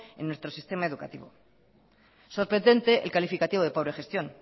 en nuestro sistema educativo sorprendente el calificativo de pobre gestión